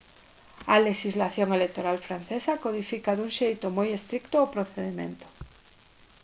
a lexislación electoral francesa codifica dun xeito moi estrito o procedemento